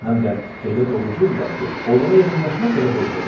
Həm də elə doğruculudurlar ki, onlara yaxınlaşmaq belə qorxuludur.